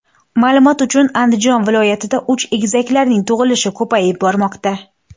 Ma’lumot uchun, Andijon viloyatida uch egizaklarning tug‘ilishi ko‘payib bormoqda .